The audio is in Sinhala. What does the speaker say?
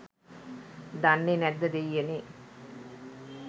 දන්නේ නැද්ද දේයියනේ